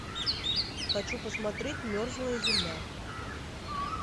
хочу посмотреть мерзлая земля